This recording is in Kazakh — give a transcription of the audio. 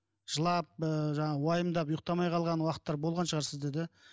жылап ы жаңағы уайымдап ұйықтамай қалған уақыттар болған шығар сізде да